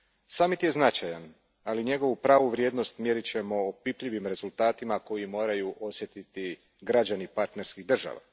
Samit je značajan, ali njegovu pravu vrijednost mjerit ćemo opipljivim rezultatima koje moraju osjetiti građani partnerskih država.